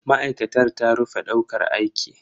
Ma'aikatar ta rufe daukar aiki.